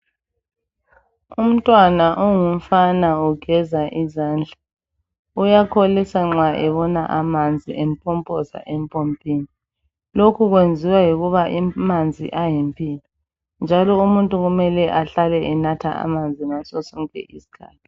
Umntwana ongumfana ugeza izandla. Uyakholisa nxa ebona amanzi empompoza empompini, lokhu kwenziwa yikuba amanzi ayimpilo njalo umuntu kumele ahlale enatha amanzi ngaso sonke isikhathi